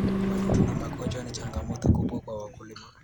Wadudu na magonjwa ni changamoto kubwa kwa wakulima.